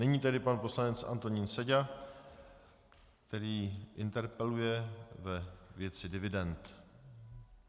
Nyní tedy pan poslanec Antonín Seďa, který interpeluje ve věci dividend.